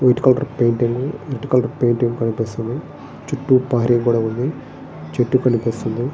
White colour painting white colour painting కనిపిస్తుంది. చుట్టు ప్రహరీ గోడ ఉంది. చెట్టు కనిపిస్తుంది.